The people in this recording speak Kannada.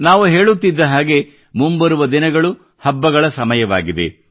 ನಾವು ಹೇಳುತ್ತಿದ್ದ ಹಾಗೆ ಮುಂಬರುವ ದಿನಗಳು ಹಬ್ಬಗಳ ಸಮಯವಾಗಿದೆ